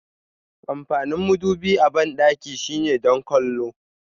Amfanin madubi a bandaki shine don kwallo.